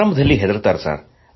ಆರಂಭದಲ್ಲಿ ಹೆದರುತ್ತಾರೆ